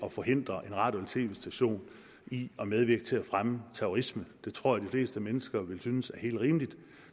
at forhindre en radio eller tv station i at medvirke til at fremme terrorisme det tror jeg de fleste mennesker vil synes er helt rimeligt